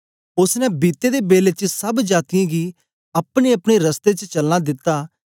ओसने बीते दे बेले च सब जातीयें गी अपनेअपने रस्ते च चलना दिता